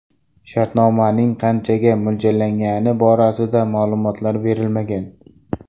Shartnomaning qanchaga mo‘ljallangani borasida ma’lumot berilmagan.